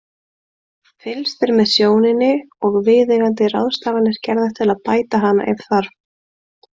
Fylgst er með sjóninni og viðeigandi ráðstafanir gerðar til að bæta hana ef þarf.